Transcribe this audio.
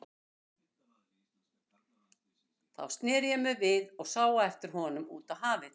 Þá sneri ég mér við og sá á eftir honum út á hafið.